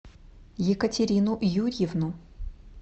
екатерину юрьевну